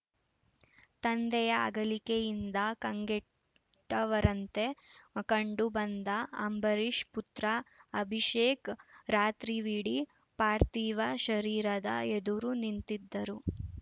ತಂದೆಯ ಅಗಲಿಕೆಯಿಂದ ಕಂಗೆಟ್ಟವರಂತೆ ಕಂಡು ಬಂದ ಅಂಬರೀಷ್‌ ಪುತ್ರ ಅಭಿಷೇಕ್‌ ರಾತ್ರಿವಿಡೀ ಪಾರ್ಥಿವ ಶರೀರದ ಎದುರು ನಿಂತಿದ್ದರು